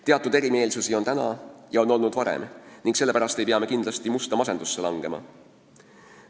Teatud erimeelsust on praegu ja on olnud varem, aga selle pärast ei maksa musta masendusse langeda.